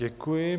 Děkuji.